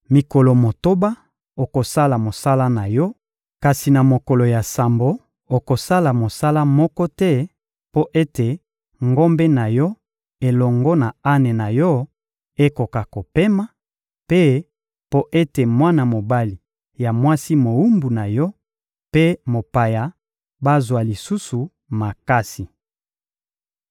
Mikolo motoba, okosala mosala na yo; kasi na mokolo ya sambo, okosala mosala moko te mpo ete ngombe na yo elongo na ane na yo ekoka kopema, mpe mpo ete mwana mobali ya mwasi mowumbu na yo mpe mopaya bazwa lisusu makasi.